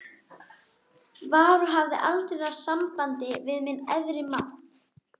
var og hafði aldrei náð sambandi við minn æðri mátt.